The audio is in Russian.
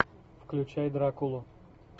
включай дракулу